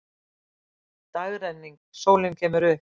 Dagrenning, sólin kemur upp.